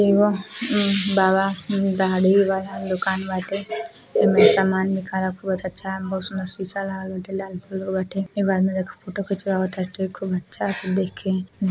एगो बाबा दाढी वाला दुकान वाटे एमे सामान निकाला कुबज अच्छा बहोत सीसा एक आदमी देखो फोटो खिचवावत है खूब अच्छा देखे --